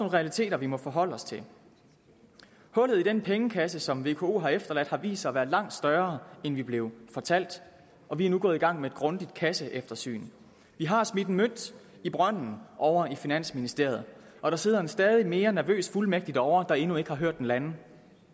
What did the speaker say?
realiteter vi må forholde os til hullet i den pengekasse som vko har efterladt har vist sig at være langt større end vi blev fortalt og vi er nu gået i gang med et grundigt kasseeftersyn vi har smidt en mønt i brønden over i finansministeriet og der sidder en stadig mere nervøs fuldmægtig derovre der endnu ikke har hørt den lande